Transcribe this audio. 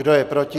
Kdo je proti?